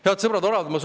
" Head sõbrad oravad!